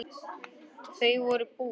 Þau voru bús.